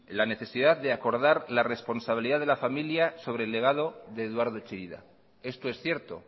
la necesidad de acordar la responsabilidad de la familia sobre el legado de eduardo chillida esto es cierto